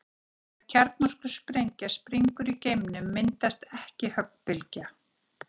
Ef kjarnorkusprengja springur í geimnum myndast ekki höggbylgja.